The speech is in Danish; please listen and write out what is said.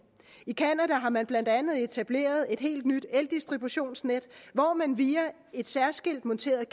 i canada har man blandt andet etableret et helt nyt eldistributionsnet hvor man via et særskilt monteret